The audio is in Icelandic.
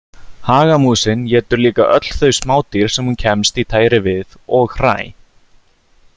Hagamúsin étur líka öll þau smádýr sem hún kemst í tæri við og hræ.